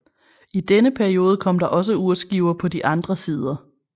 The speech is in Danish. I denne periode kom der også urskiver på de andre sider